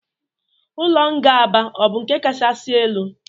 Ụlọ nga Aba ọ bụ nke kachasị elu?